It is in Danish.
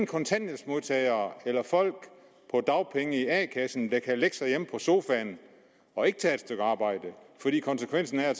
kontanthjælpsmodtagere eller folk på dagpenge i a kassen der kan lægge sig hjemme på sofaen og ikke tage et stykke arbejde fordi konsekvensen er at